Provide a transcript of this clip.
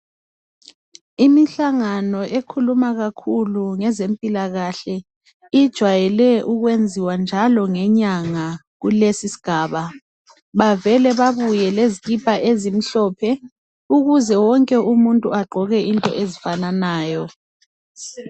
Imihlangano ekhuluma kakhulu ngezempilakahle ijayelwe ukwenziwa njalo ngenyanga kulesisigaba bavele babuye lezikipa ezimhlophe ukuze wonke umuntu agqoke into ezifananayo